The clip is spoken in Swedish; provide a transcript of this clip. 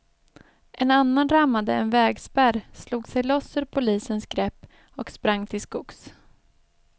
En annan rammade en vägspärr, slog sig loss ur polisens grepp och sprang till skogs.